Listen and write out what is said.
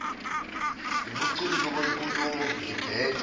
ubuciko benkulumo ngibheke